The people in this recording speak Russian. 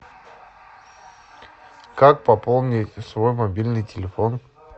как пополнить свой мобильный телефон